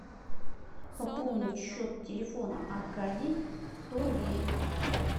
пополнить счет телефона аркадий сто рублей